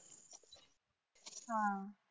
आह